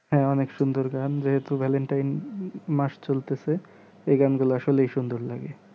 হ্যাঁ অনেক সুন্দর গান যেহেতু valentine মাস চলতেছে এই গান গুলা আসলেই সুন্দর লাগে